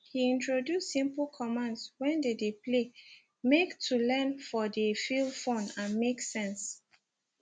he introduce simple commands when they dey play make to learn for dey feel fun and make sense